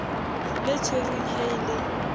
le tshwerweng ha e le